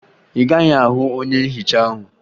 Ị gaghị ahụ onye nhicha ahụ